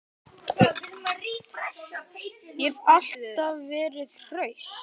Ég hef alltaf verið hraust.